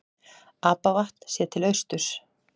Apavatn séð til austurs.